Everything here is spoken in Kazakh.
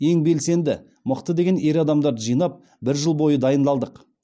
ең белсенді мықты деген ер адамдарды жинап бір жыл бойы дайындалдық